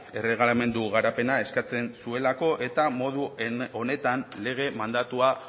erregelamendu garapena eskatzen zuelako eta modu honetan lege mandatua